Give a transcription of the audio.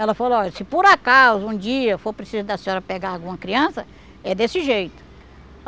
Ela falou, olha, se por acaso um dia for preciso da senhora pegar alguma criança, é desse jeito.